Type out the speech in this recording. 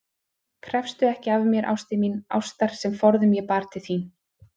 Krefstu ekki af mér, ástin mín, ástar sem forðum ég bar til þín.